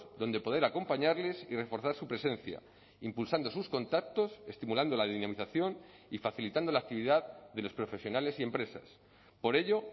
donde poder acompañarles y reforzar su presencia impulsando sus contactos estimulando la dinamización y facilitando la actividad de los profesionales y empresas por ello